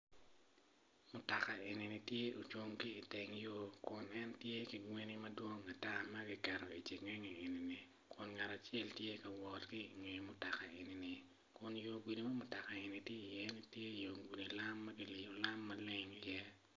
Mutoka enini tye ocung ki iteng yo kun en tye ki gweni madwong ata ma kiketo i cengenge eni iwiye kun ngat acele tye ka wot ki inge mutoka enini kun yo gudi ma mutokani tye ka wot iye tye yo gudi lam ma kiliyo lam maleng iye.